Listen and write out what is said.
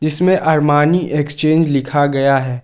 इसमें Armani Exchange लिखा गया है।